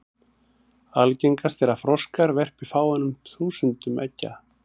Algengast er að froskar verpi fáeinum þúsundum eggja.